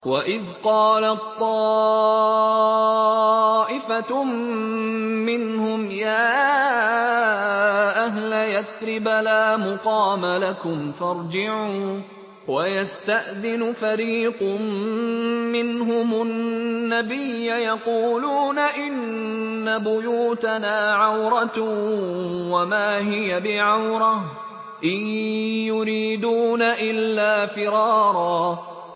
وَإِذْ قَالَت طَّائِفَةٌ مِّنْهُمْ يَا أَهْلَ يَثْرِبَ لَا مُقَامَ لَكُمْ فَارْجِعُوا ۚ وَيَسْتَأْذِنُ فَرِيقٌ مِّنْهُمُ النَّبِيَّ يَقُولُونَ إِنَّ بُيُوتَنَا عَوْرَةٌ وَمَا هِيَ بِعَوْرَةٍ ۖ إِن يُرِيدُونَ إِلَّا فِرَارًا